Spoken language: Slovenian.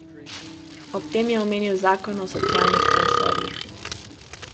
Ob tem je omenil zakon o socialnih transferjih.